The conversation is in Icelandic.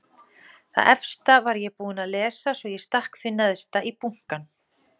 Það efsta var ég búin að lesa svo ég stakk því neðst í bunkann.